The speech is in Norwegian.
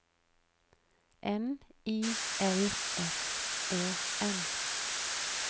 N I L S E N